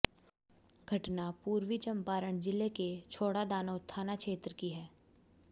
घटना पूर्वी चम्पारण जिले के छौड़ादानो थाना क्षेत्र की है